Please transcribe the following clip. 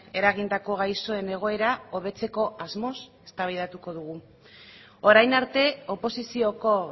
eragindako gaixoen egoera hobetzeko asmoz eztabaidatuko dugu orain arte oposizioko